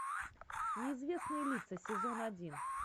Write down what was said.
неизвестные лица сезон один